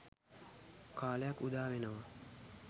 කාලයක් උදා වෙනවා.